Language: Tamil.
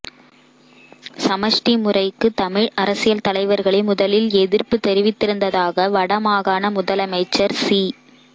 சமஷ்டி முறைக்கு தமிழ் அரசியல் தலைவர்களே முதலில் எதிர்ப்பு தெரிவித்திருந்ததாக வட மாகாண முதலமைச்சர் சி